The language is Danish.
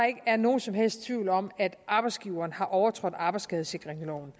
ikke er nogen som helst tvivl om at arbejdsgiveren har overtrådt arbejdsskadesikringsloven